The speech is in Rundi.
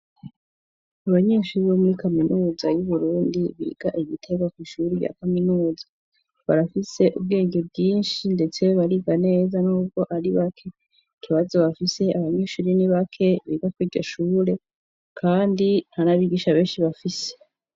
Abanyeshuri bo muri kaminuza y'uburundi biga igitega kw'ishuri rya kaminuza barafise ubwenge bwinshi ndetse bariga neza n'ubwo ari bake. Ikibazo bafise abanyeshure ni bake biga kw'iryohure kandi ntanabigisha benshi bafise.